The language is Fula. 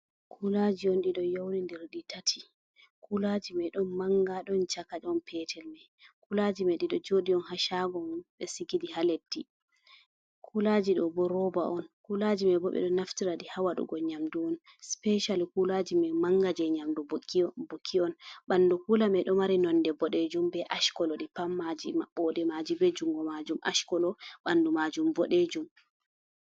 Kulaaji on ɗi ɗo yowndindiri ɗi tati, kulaaji may ɗon mannga, ɗon caka, ɗon peetel may. Kulaaji may ɗi ɗo jooɗi on, haa caago on, ɓe sigi ɗi haa leddi. Kulaaji ɗo bo rooba on, kulaaji may bo, ɓe ɗo naftira ɗi haa waɗugo nyamdu on. Sipecali kulaaji may mannga, jey nyamdu buki on, ɓanndu kuula may, ɗo mari nonde boɗeejum be aac kolo, ɗi pat maaji maɓɓooɗe maaji, be junngo maajum aac kolo, ɓanndu maajum boɗeejum.